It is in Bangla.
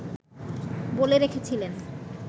বলে রেখেছিলেন